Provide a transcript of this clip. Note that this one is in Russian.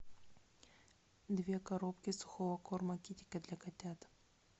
две коробки сухого корма китикет для котят